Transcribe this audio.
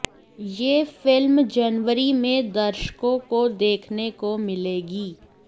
यह फिल्म जनवरी में दर्शकों को देखने को मिलेगी